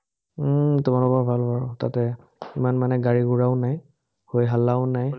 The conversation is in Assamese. উম তোমালোকৰ ভাল বাৰু তাতে, ইমান মানে গাড়ী-গুৰাও নাই, হৈ হাল্লাও নাই।